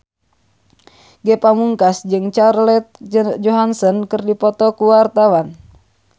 Ge Pamungkas jeung Scarlett Johansson keur dipoto ku wartawan